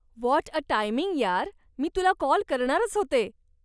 What a timing यार, मी तुला काॅल करणारच होते.